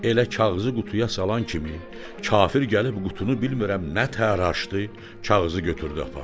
Elə kağızı qutuya salan kimi, kafir gəlib qutunu bilmirəm nətər açdı, kağızı götürdü apardı.